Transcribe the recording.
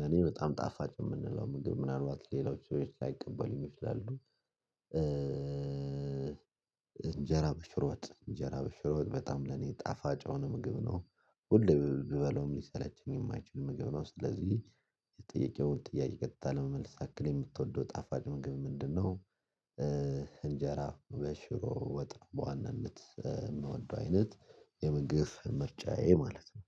ለኔ በጣም ጣፋጭ የምንለው ምግብ ምናልባት ሌላዎች ሰዎች ሳይቀበል ይችላሉ። እንጀራ በሽሮጥ እንጀራ በሽሮ ወጥ በጣም ለኔ ጣፋጭ አሁን ምግብ ነው። ሁሉ ቢበለውም ሊሰለችኝ የማይችል ምግብ ነው ስለዚህ። የጥያቄውን ጥያቄ ቀጥታ ለመመልስ ያክል የምትወደው ጣፋጭ ምግብ ምንድነው? እንጀራ በሽሮ ወጥ በዋናነት የምወደው አይነት የምግብ መርጫዬ ማለት ነው።